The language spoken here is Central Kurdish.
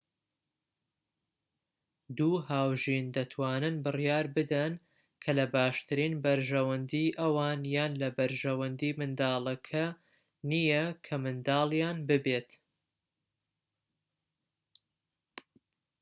دوو هاوژین دەتوانن بڕیار بدەن کە لە باشترین بەرژەوەندیی ئەوان یان لە بەرژەوەندی منداڵەکە نیە کە منداڵیان ببێت